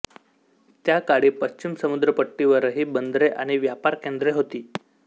त्या काळी पश्चिम समुद्रपट्टीवरही बंदरे आणि व्यापार केंद्रे होती